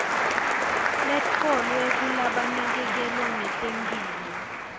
letfolwe kulabanakekela ngetemphilo